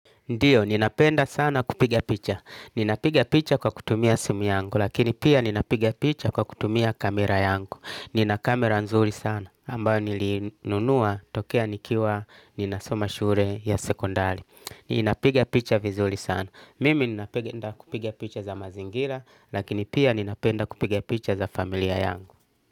Ndio, ninapenda sana kupiga picha. Ninapiga picha kwa kutumia simu yangu, lakini pia ninapiga picha kwa kutumia kamera yangu. Nina kamera nzuri sana, ambayo nilinunua tokea nikiwa ninasoma shule ya sekondari. Inapigia picha vizuri sana. Mimi ninapenda kupiga picha za mazingira, lakini pia ninapenda kupiga picha za familia yangu.